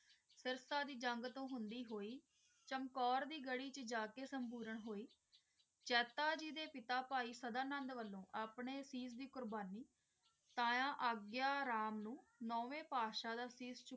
ਸਾਰਥ ਦੀ ਜੰਗ ਤੋਂ ਹੋਂਦੀ ਹੁਈ ਚਮਕੌਰ ਦੀ ਗ੍ਰਹਿ ਵਿਚ ਜਾ ਕ ਸੰਪੂਰਨ ਹੁਈ ਜਾਤਾ ਜੀ ਦੇ ਪਿਤਾ ਭਾਈ ਸਦਾ ਨੰਦ ਵਲੋਂ ਆਪਣੇ ਅਸੀਸ ਦੀ ਕੁਰਬਾਨੀ ਤੇ ਅਗੈ ਰਾਮ ਨੂੰ ਨੌਵੇਂ ਪੇਸ਼ੀਆਂ ਦੇ